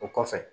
O kɔfɛ